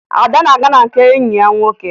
Ada na-aga na nke enyi ya nwoke